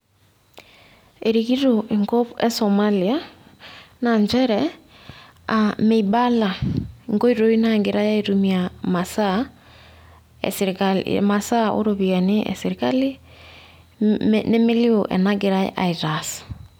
erikito enkoitoi esomalia naa nchere, meibala, inkoitoi naagirae aaitumiia imasaa esirkali o ropiyiani esirkali, nemilioo enegirae aitaas.